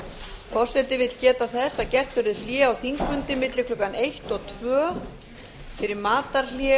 forseti vill geta þess að gert verður hlé á þingfundi milli klukkan eitt og tveir fyrir matarhlé